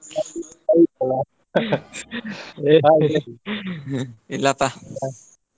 ಇಲ್ಲಪ್ಪ.